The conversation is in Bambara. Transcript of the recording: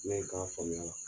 Ne ka faamuya la.